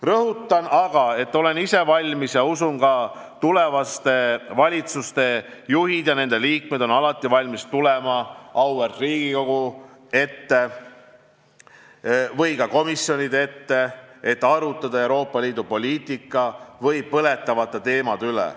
Rõhutan aga, et olen ise valmis ja usun, et ka tulevaste valitsuste juhid ja nende liikmed on alati valmis tulema auväärt Riigikogu ette või ka komisjonide ette, et arutada Euroopa Liidu poliitika ja selle põletavate teemade üle.